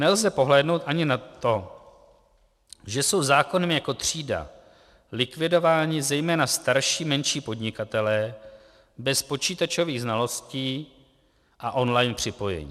Nelze přehlédnout ani na to, že jsou zákonem jako třída likvidováni zejména starší menší podnikatelé bez počítačových znalostí a online připojení.